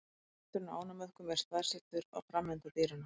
Kjafturinn á ánamöðkum er staðsettur á framenda dýranna.